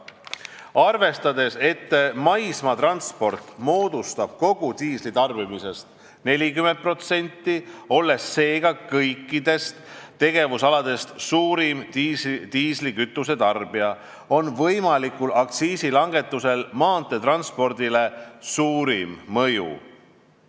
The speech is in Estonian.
Arvestades, et maismaatransport moodustab kogu diisli tarbimisest 40%, olles seega kõikidest tegevusaladest suurim diislikütuse tarbija, on võimalikul aktsiisilangetusel maanteetranspordile suurim mõju.